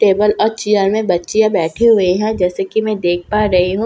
table और chair में बच्चियां बैठी हुई हैं जैसा की मैं देख पा रही हूँ --